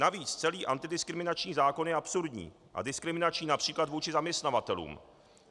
Navíc celý antidiskriminační zákon je absurdní a diskriminační například vůči zaměstnavatelům.